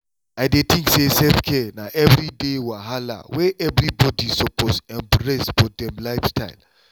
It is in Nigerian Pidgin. i dey tink say self-care na everyday wahala wey everybody suppose embrace for dem lifestyle.